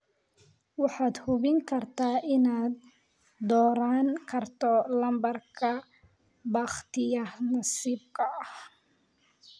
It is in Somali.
waxaad hubin kartaa inaad dooran karto lambarada bakhtiyaanasiibka ah